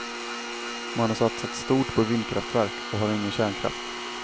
Man har satsat stort på vindkraftverk och har ingen kärnkraft.